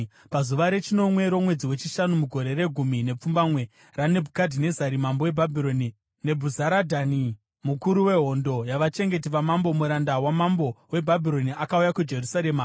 Pazuva rechinomwe romwedzi wechishanu, mugore regumi nepfumbamwe raNebhukadhinezari mambo weBhabhironi, Nebhuzaradhani mukuru wehondo yavachengeti vamambo, muranda wamambo weBhabhironi, akauya kuJerusarema.